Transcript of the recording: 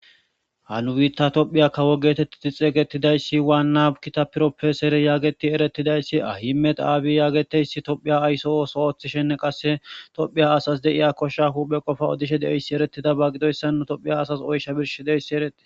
Ha nu bitta tophiya kawo geetetidi xeeysetidaysi waana ha bitta propessere geteti eretidaysi abiy Ahmed getetiyaysi tophiya ayso ootho oothishenne qase tophiya kosha asa qopa odishe dizaysi etetidaba gidoysan tophiya asas oysha birshoysi eretides.